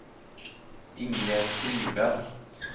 Ingegerd Friberg